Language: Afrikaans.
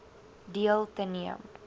deel te neem